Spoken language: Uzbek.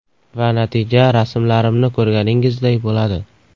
Va natija rasmlarimni ko‘rganingizday bo‘ladi.